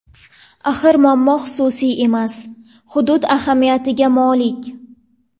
Axir muammo xususiy emas, hudud ahamiyatiga molik.